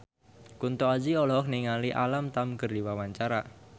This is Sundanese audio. Kunto Aji olohok ningali Alam Tam keur diwawancara